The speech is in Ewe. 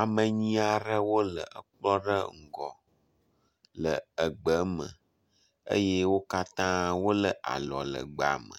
Ame enyi aɖewo le ekpɔ ɖe ŋgɔ le egbe me eye wo katã wo le alɔ le gbea me